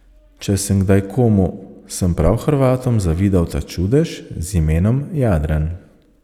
Če sem kdaj komu, sem prav Hrvatom zavidal ta čudež z imenom Jadran.